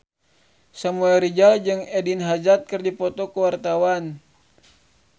Samuel Rizal jeung Eden Hazard keur dipoto ku wartawan